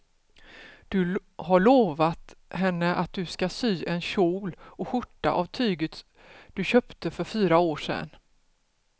Du har lovat henne att du ska sy en kjol och skjorta av tyget du köpte för fyra år sedan.